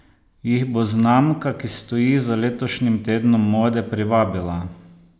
Jih bo znamka, ki stoji za letošnjim tednom mode, privabila?